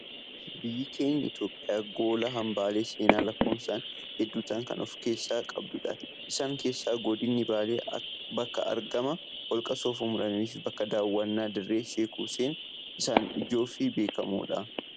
Biyyi keenya Itoophiyaan gola hambaalee seenaa lakkoofsaan hedduu ta'an kan of keessaa qabdudha. Isaan keessaa godinni baalee bakka argama holqa soofumar fi bakka daawwannaa dirree Sheek Husseen isaan ijoo fi beekamoodha.